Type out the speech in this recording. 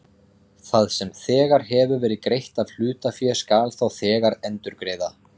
Það sem þegar hefur verið greitt af hlutafé skal þá þegar endurgreiða.